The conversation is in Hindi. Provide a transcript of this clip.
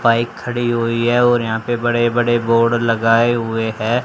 बाइक खड़ी हुई है और यहां पे बड़े बड़े बोर्ड लगाए हुए है।